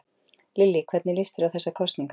Lillý: Hvernig líst þér á þessar kosningar?